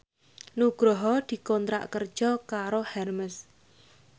Nugroho dikontrak kerja karo Hermes